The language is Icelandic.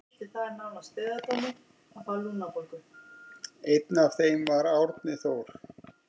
Einn af þeim var Árni Þór.